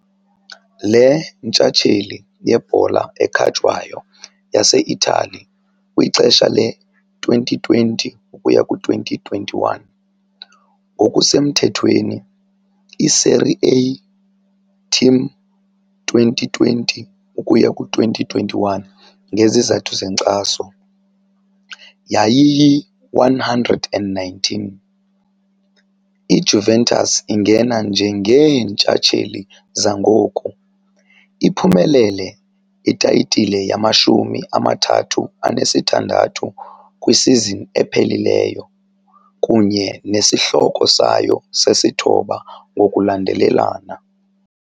leNtshatsheli yeBhola ekhatywayo yaseItali kwixesha le-2020-21, ngokusemthethweni "iSerie A" TIM 2020-2021 ngezizathu zenkxaso, yayiyi-119. IJuventus ingena njengeentshatsheli zangoku, iphumelele itayitile yamashumi amathathu anesithandathu kwisizini ephelileyo kunye nesihloko sayo sesithoba ngokulandelelana.